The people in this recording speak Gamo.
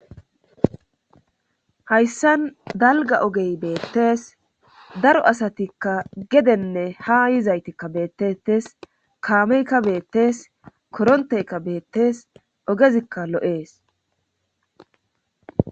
hayssan dalga ogey beettees daro asatikka gedenne ha yizaytikka beettettes kaameykka beettes koronteykka beettes ogezikka lo7ees